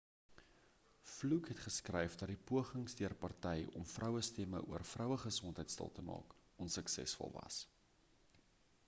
fluke het geskryf dat die pogings deur party om vrouestemme oor vrouegesondheid stil te maak onsuksesvol was